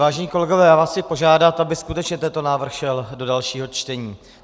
Vážení kolegové, já vás chci požádat, aby skutečně tento návrh šel do dalšího čtení.